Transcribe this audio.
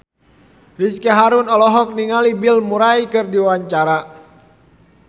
Ricky Harun olohok ningali Bill Murray keur diwawancara